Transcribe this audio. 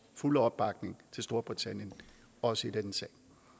fulde opbakning til storbritannien også i denne sag